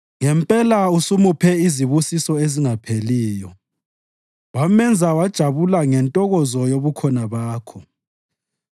Ngempela usumuphe izibusiso ezingapheliyo wamenza wajabula ngentokozo yobukhona Bakho.